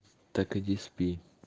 так иди спи